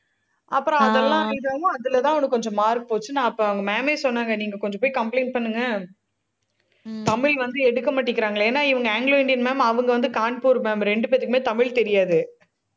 அப்புறம் அதெல்லாம் கொஞ்சம் mark போச்சு. நான் அப்ப அவங்க ma'am ஏ சொன்னாங்க, நீங்க கொஞ்சம் போய் complaint பண்ணுங்க. தமிழ் வந்து எடுக்க மாட்டேங்குறாங்களே. ஏன்னா, இவங்க anglo Indian ma'am அவங்க வந்து கான்பூர் ma'am ரெண்டு பேர்த்துக்குமே தமிழ் தெரியாது